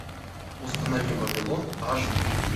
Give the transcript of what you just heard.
установи вавилон аш ди